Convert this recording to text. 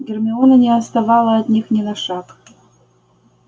гермиона не отставала от них ни на шаг